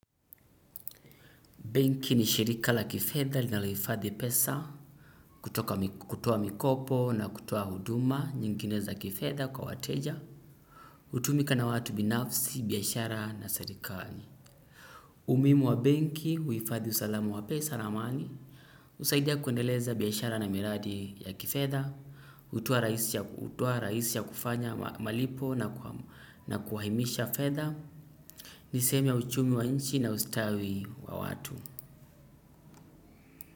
Benki ni shirika la kifedha linalohifadhi pesa, kutoa mikopo na kutoa huduma nyingineza kifedha kwa wateja, utumika na watu binafsi, biashara na serikali. Umuhimu wa benki, huifadhi usalama wa pesa na mali, usaidia kuendeleza biashara na miradi ya kifedha, utuoa rahisi ya kufanya malipo na kuahimisha fedha, ni sehemu ya uchumi wa nchi na ustawi wa watu.